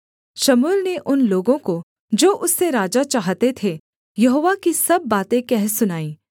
शमूएल ने उन लोगों को जो उससे राजा चाहते थे यहोवा की सब बातें कह सुनाईं